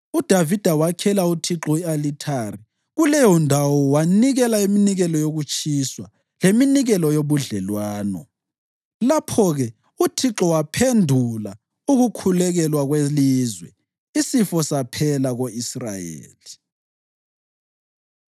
UDavida wakhela uThixo i-alithari kuleyondawo wanikela iminikelo yokutshiswa leminikelo yobudlelwano. Lapho-ke uThixo waphendula ukukhulekelwa kwelizwe, isifo saphela ko-Israyeli.